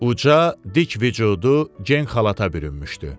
Uca, dik vücudu gen xalata bürünmüşdü.